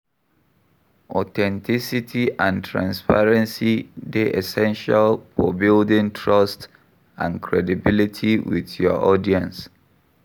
Authenticity and transparency dey essential for building trust and credibility with your audience.